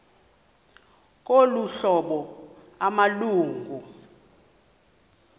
ngolu hlobo amalungu